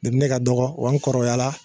Depi ne ka dɔgɔ wa n kɔrɔbayala